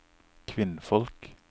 kvinnfolk